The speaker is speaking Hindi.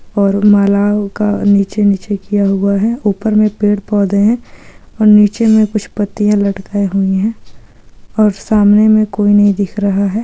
और नीचे नीचे किया गया है ऊपर पेड़ पौधे है और नीचे मे पुष्पति लड़का हुई है और सामने में कोई नही दिख रहा है।